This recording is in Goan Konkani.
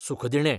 सुखदिणें